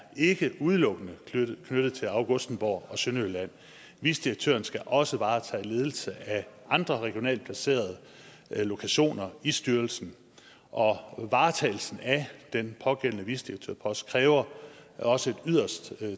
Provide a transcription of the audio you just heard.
ikke udelukkende knyttet til augustenborg og sønderjylland vicedirektøren skal også varetage ledelse af andre regionalt placerede lokationer i styrelsen og varetagelsen af den pågældende vicedirektørpost kræver også et yderst